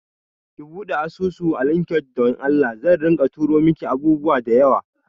Ki buɗe asusu a LinkedIn don Allah, zan rika tura miki abubuwa da yawa